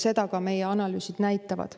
Seda ka meie analüüsid näitavad.